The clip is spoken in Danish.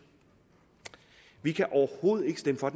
vi kan overhovedet ikke stemme for